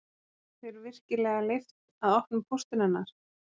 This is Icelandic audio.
Var þér virkilega leyft að opna póstinn hennar